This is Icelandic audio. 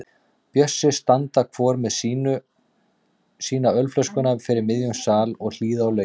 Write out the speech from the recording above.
Bjössi standa hvor með sína ölflöskuna fyrir miðjum sal og hlýða á lögin.